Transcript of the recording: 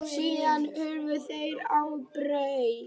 Síðan hurfu þeir á braut.